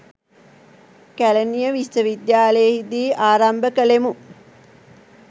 කැලණිය විශ්වවිද්‍යාලයෙහි දී ආරම්භ කළෙමු